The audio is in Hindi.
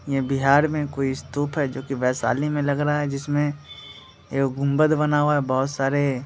ये बिहार में कोई स्तूप है जोकि वैशाली में लग रहा है जिसमें एगो गुंबद बना हुआ है बहोत सारे --